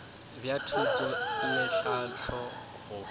bja thuto le tlhahlo go